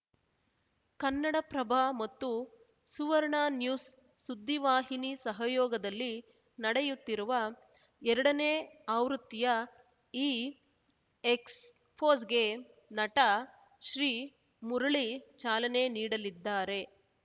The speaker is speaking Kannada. ಕನ್ನಡಪ್ರಭ ಮತ್ತು ಸುವರ್ಣ ನ್ಯೂಸ್‌ ಸುದ್ದಿವಾಹಿನಿ ಸಹಯೋಗದಲ್ಲಿ ನಡೆಯುತ್ತಿರುವ ಎರಡನೇ ಆವೃತ್ತಿಯ ಈ ಎಕ್ಸ್‌ಪೋಸ್ ಗೆ ನಟ ಶ್ರೀಮುರಳಿ ಚಾಲನೆ ನೀಡಲಿದ್ದಾರೆ